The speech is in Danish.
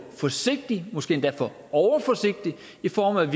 forsigtig måske endda for overforsigtig i forhold